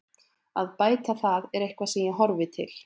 Að bæta það er eitthvað sem ég horfi til.